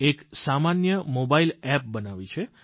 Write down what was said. એક સામાન્ય mobile app બનાવી છે